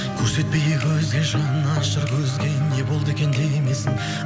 көрсетпейік өзге жанашыр көзге не болды екен демесін